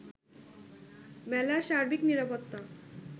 মেলার সার্বিক নিরাপত্তা